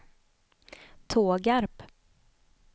Tågarp